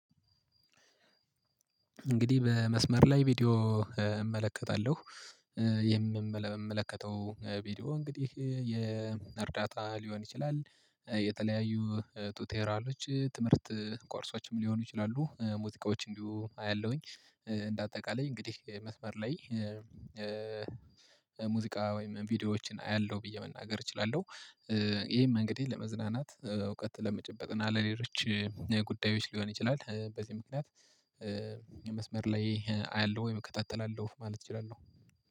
እንግዲህ በመስመር ላይ ቪዲዮ እመለከታለሁ። የምመለከተው ቪዲዮ እንግዲህ የእርዳታ ሊሆን ይችላል የተለያዩ ቱቴራሎች ትምህርት ኮርሶችም ሊሆኑ ይችላሉ ሙዚቃዎች እንዲሁ አያለሁኝ። እንደ አጠቃላይ እንግዲህ መስመር ላይ ሙዚቃ ወይም ቪዲዮዎችን አያለሁ ብዬ መናገር እችላለሁ። ይሄም እንግዲህ ለመዝናናት እውቀት ለመጨበጥ እና ለሌሎች ጉዳዮች ሊሆን ይችላል። በዚህ ምክንያት መስመር ላይ አያለሁ ወይም እከታተላለሁ ማለት እችላለሁ